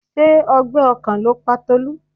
Ṣé ọgbẹ́ ọkàn ló pa Tolú?